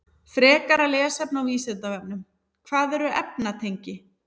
Frekara lesefni á Vísindavefnum: Hvað eru efnatengi?